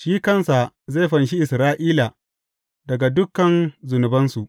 Shi kansa zai fanshi Isra’ila daga dukan zunubansu.